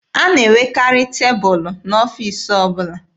A na-enwekarị tebụlụ n'ọfiisi ọbụla.